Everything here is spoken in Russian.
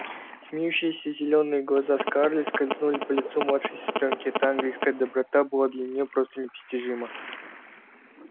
смеющиеся зелёные глаза скарлетт скользнули по лицу младшей сестрёнки эта ангельская доброта была для неё просто непостижима